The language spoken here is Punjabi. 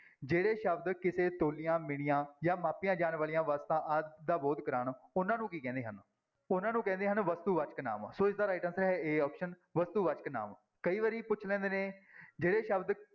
ਜਿਹੜੇ ਸ਼ਬਦ ਕਿਸੇ ਤੁਲੀਆਂ, ਮਿਣੀਆਂ ਜਾਂ ਮਾਪੀਆਂ ਜਾਣ ਵਾਲੀਆਂ ਵਸਤਾਂ ਆਦਿ ਦਾ ਬੋਧ ਕਰਵਾਉਣ ਉਹਨਾਂ ਨੂੰ ਕੀ ਕਹਿੰਦੇ ਹਨ, ਉਹਨਾਂ ਨੂੰ ਕਹਿੰਦੇ ਹਨ ਵਸਤੂਵਾਚਕ ਨਾਂਵ, ਸੋ ਇਸਦਾ right answer ਹੈ a option ਵਸਤੂ ਵਾਚਕ ਨਾਂਵ, ਕਈ ਵਾਰੀ ਪੁੱਛ ਲੈਂਦੇ ਨੇ ਜਿਹੜੇ ਸ਼ਬਦ